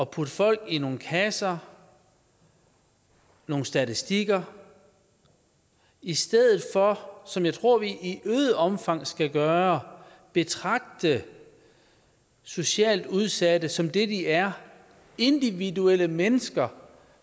putte folk i nogle kasser nogle statistikker i stedet for som jeg tror vi i øget omfang skal gøre at betragte socialt udsatte som det de er individuelle mennesker